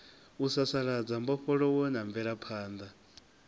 u sasaladza mbofholowo na mvelaphanḓa